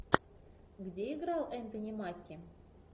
где играл энтони маки